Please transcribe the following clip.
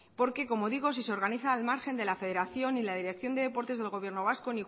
porque como digo si se organizan al margen de la federación y la dirección de deportes del gobierno vasco